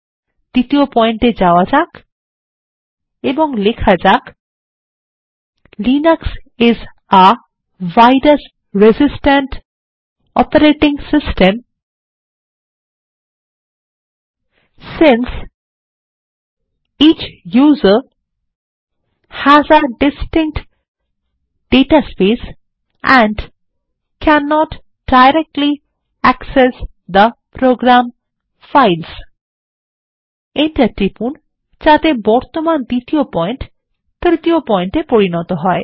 দ্বিতীয় পয়েন্ট এ যাওয়া যাক এবং লেখা যাক Linux is a virus resistant operating system since each user has a distinct data space and can't directly access the program files enter টিপুন যাতে বর্তমান দ্বিতীয় পয়েন্ট তৃতীয় পয়েন্ট এ পরিণত হয়